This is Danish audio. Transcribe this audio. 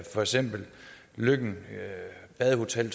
for eksempel løkken badehotel